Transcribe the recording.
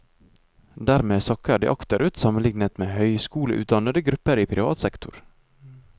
Dermed sakker de akterut sammenlignet med høyskoleutdannede grupper i privat sektor.